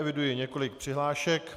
Eviduji několik přihlášek.